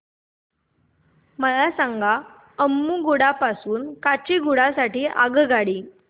मला सांगा अम्मुगुडा पासून काचीगुडा साठी आगगाडी